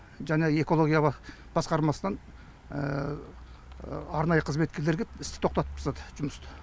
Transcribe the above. жаңағы экология басқармасынан арнайы қызметкерлер кеп істі тоқтатып тастады жұмысты